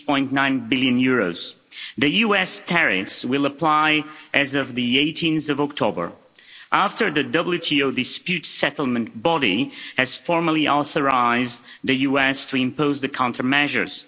6.9 billion. The US tariffs will apply as of 18 October, after the WTO dispute settlement body has formally authorised the US to impose the countermeasures.